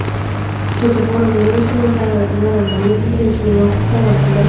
Xitoyda koronavirus bilan zararlangan birinchi bemor davolandi.